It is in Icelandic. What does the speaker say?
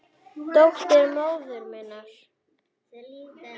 Dóttir móður minnar?